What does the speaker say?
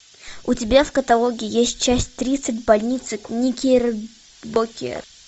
у тебя в каталоге есть часть тридцать больница никербокер